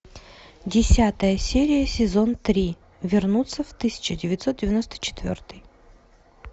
десятая серия сезон три вернуться в тысяча девятьсот девяносто четвертый